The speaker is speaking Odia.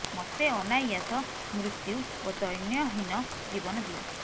ମତେ ଅନାୟାସ ମୃତ୍ୟୁ ଓ ଦୈନ୍ୟହୀନ ଜୀବନ ଦିଅ